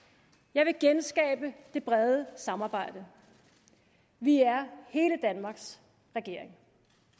jeg vil genskabe det brede samarbejde vi er hele danmarks regering